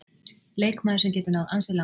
Leikmaður sem getur náð ansi langt.